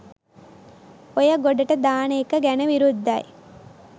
ඔය ගොඩට දාන එක ගැන විරුද්ධයි.